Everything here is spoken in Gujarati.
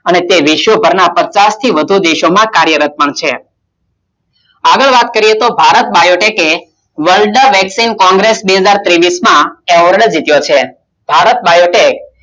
અને તે વિશ્વભર ના પચાસ થી પણ વધુ દેશ માં કાર્યરત છે આની વાત કરીયે તો ભારત બાયોડેક World વેક્સીન બે હજાર તેવીસ માં એવોડ જીત્યો હતો.